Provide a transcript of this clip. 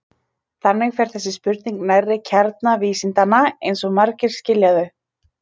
Þannig fer þessi spurning nærri kjarna vísindanna eins og margir skilja þau.